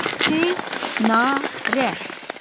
Çinarə.